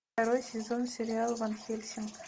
второй сезон сериала ван хельсинг